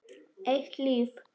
Eitt líf.